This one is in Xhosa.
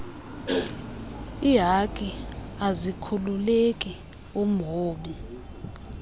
ihaki azikhululeki umlobi